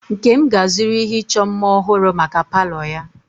Nkem ga-azụrụ ihe ịchọ mma ọhụrụ maka palo ya.